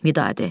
Vidadi.